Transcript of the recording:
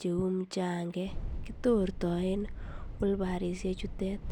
cheuu muchang'ek, kitortoen olbarishe chutet.